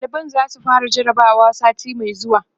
ɗaliban zasu fara jarabawa sati Mai zuwa